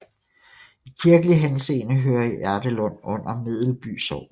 I kirkelig henseende hører Jardelund under Medelby Sogn